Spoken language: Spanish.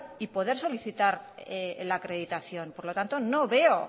y poder solicitar la acreditación por lo tanto no veo